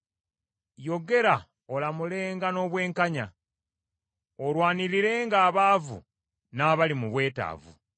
Yogera olamulenga n’obwenkanya, olwanirirenga abaavu n’abali mu bwetaavu.